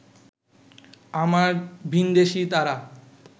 আমার ভিনদেশী তারা